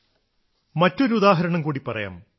മറ്റൊരുദാഹരണം ഉദാഹരണം കൂടി പറയാം